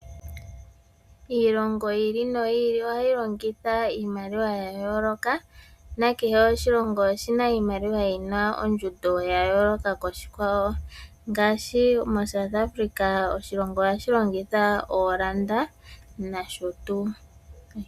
Iilongo yi ili noyi ili ohayi longitha iimaliwa ya yooloka, na kehe oshilongo oshina iimaliwa yina ondjundo ya yooloka koshikwawo. Ngaashi moSouth Africa, oshilongo ohashi longitha ooranda nosho tuu.